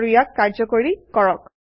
আৰু ইয়াক কাৰ্যকৰী কৰক